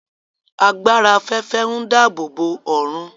Agbára afẹfẹ ǹ dáàbòbo ọrun